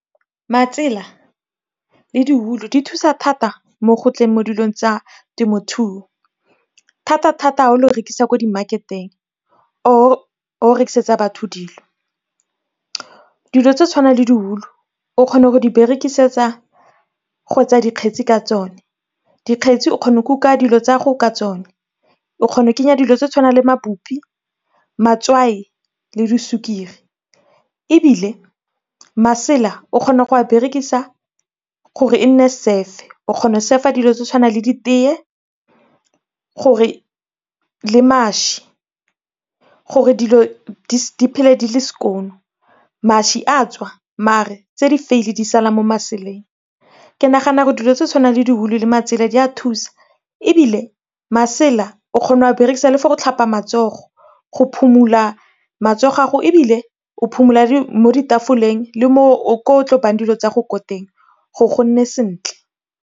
Matsela le di wool-u di thusa thata mo gotleng mo dilong tsa temothuo, thata-thata ga o lo rekisa ko di marketeng or o rekisetsa batho dilo. Dilo tse tshwanang le di wool-u o kgona go di berekisetsa go etsa dikgetsi ka tsone. Dikgetsi o kgona go kuka dilo tsa gago ka tsone, o kgona go kenya dilo tse di tshwanang le mabupi, matswai le di sukiri. Ebile masela o kgona go a berekisa gore e nne surf-e, o kgona go surf-a dilo tse di tshwanang le di teye le mašwi gore dilo di phele di le skoon. Mašwi a tswa mare tse di vuil di sala mo maseleng, ke nagana gore dilo tse di tshwanang le di wool-u le matsela di a thusa ebile masela, o kgona go a berekisa le for go tlhapa matsogo, go phomola matsogo a gago ebile o phomola mo ditafoleng le ko o tlo bayang dilo tsa gago ko teng gore go nne sentle.